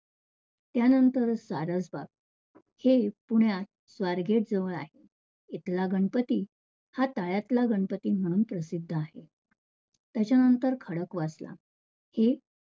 त्यानंतर सारस बाग, हे पुण्यात स्वारगेट जवळ आहे. इथला गणपती हा तळ्यातला गणपती म्हणून प्रसिद्ध आहे. त्याच्यानंतर खडकवासला हे